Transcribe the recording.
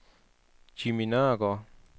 Jimmy Nørregaard